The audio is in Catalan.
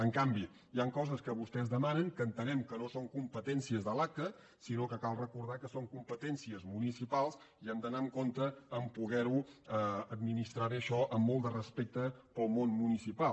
en canvi hi han coses que vostès demanen que entenem que no són competències de l’aca sinó que cal recordar que són competències municipals i hem d’anar amb compte a poder administrar bé això amb molt de respecte pel món municipal